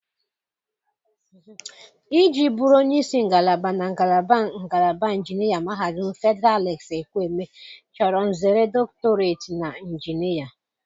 Iji bụrụ onye isi ngalaba na ngalaba ngalaba injinia Mahadum Fedịral Alex Ekwueme chọrọ nzere dọktọreti na injinia.